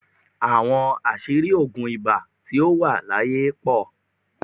Àwọn oríṣìí oògùn ibà tí ó wà láyé pọ̀